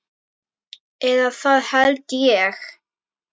Eða það held ég.